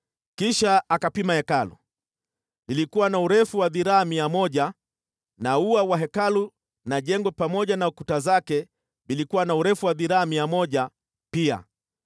Kisha akapima Hekalu, lilikuwa na urefu wa dhiraa mia moja na ua wa Hekalu na jengo pamoja na kuta zake vilikuwa na urefu wa dhiraa mia moja pia.